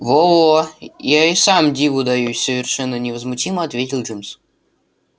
во-во я и сам диву даюсь совершенно невозмутимо ответил джимс